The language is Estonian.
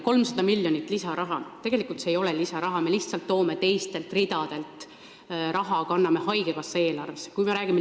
300 miljonit lisaraha ei ole tegelikult lisaraha, vaid me lihtsalt võtame raha teistelt ridadelt ja kanname selle üle haigekassa eelarvesse.